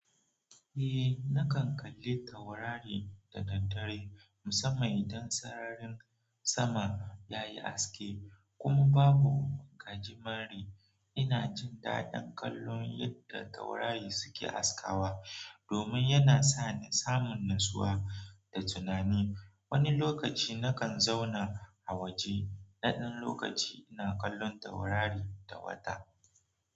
Eh, nakan kalli taurari da daddare musamman idan sararin sama yayi haske kuma babu gaji mare. Ina jin daɗin kallon yadda taurari suke askawa domin yana sa ni samun natsuwa da tunani. Wani lokaci nakan zauna a waje naɗan lokaci ina kallon taurari da wata.